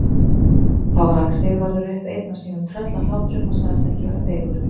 Þá rak Sigvarður upp einn af sínum tröllahlátrum og sagðist ekki vera feigur.